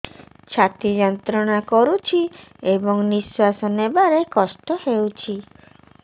ଛାତି ଯନ୍ତ୍ରଣା କରୁଛି ଏବଂ ନିଶ୍ୱାସ ନେବାରେ କଷ୍ଟ ହେଉଛି